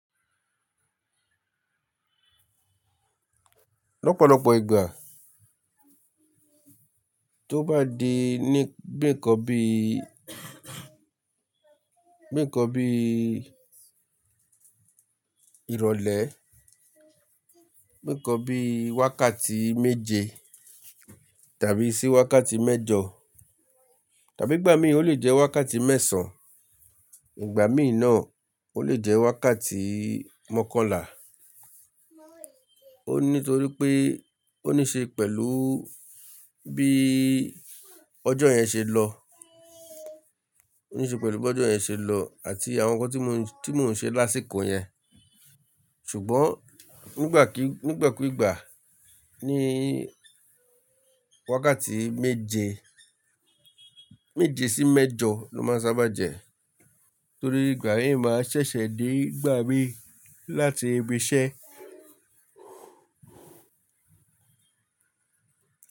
Lọ́pọ̀lọ́pọ̀ ìgbà tó bá di ní bíi ǹkan bí, bíi ǹkan bí ìrọ̀lẹ́, bíi nǹkan bí wákàtí méje tàbí sí wákàtí mẹ́jọ, tàbí ìgbà míi ò le jẹ́ wákàtí mẹ́sàn-án, ìgbà mí náà ò le jẹ́ wákàtí mọ́kànlá. Ó nítorí pé ó ní ṣe pẹ̀lú bí ọjọ́ yẹn ṣe lọ, ó ní ṣe pẹ̀lú bí ọjọ́ yẹn ṣe lọ àti àwọn nǹkan tí mò ń ṣe lásìkò yẹn. Ṣùgbọ́n nígbà kí, nígbà kú ìgbà ni wákàtí méje, méje sí mẹ́jọ ló máa n sábà jẹ́ torí ìgbà mii máa ṣẹ̀ṣẹ̀ dé n gbà mí láti ibi iṣẹ́.